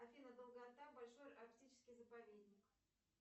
афина долгота большой арктический заповедник